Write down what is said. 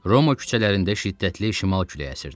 Roma küçələrində şiddətli şimal küləyi əsirdi.